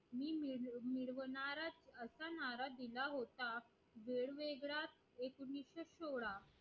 नारा दिला होता वेगवेगळ्या एकोणीशे सोहळा